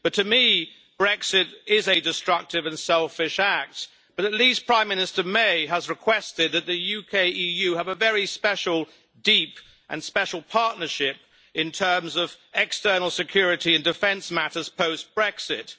But to me, Brexit is a destructive and selfish act, but at least Prime Minister May has requested that the UK and the EU have a very special and deep partnership in terms of external security and defence matters post Brexit.